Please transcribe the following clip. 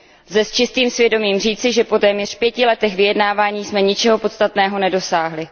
Lze s čistým svědomím říci, že po téměř pěti letech vyjednávání jsme ničeho podstatného nedosáhli.